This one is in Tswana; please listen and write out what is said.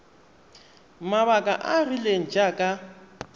mabaka a a rileng jaaka